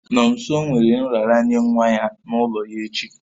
Nomso nwere nraranye nwa ya n'ụlọ ya echi